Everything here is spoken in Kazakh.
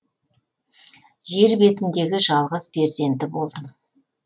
жер бетіндегі жалғыз перзенті болдым